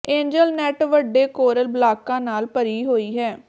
angel net ਵੱਡੇ coral ਬਲਾਕਾਂ ਨਾਲ ਭਰੀ ਹੋਈ ਹੈ